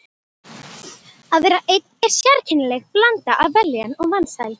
Að vera einn er sérkennileg blanda af vellíðan og vansæld.